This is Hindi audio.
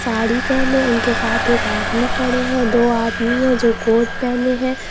साड़ी पहने उनके साथ एक आदमी खड़े हैं दो आदमी है जो कोट पहने हैं।